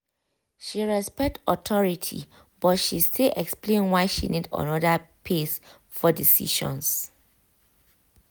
she respect authority but she still explain why she need another pace for decisions.